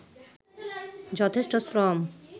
যথেষ্ট শ্রম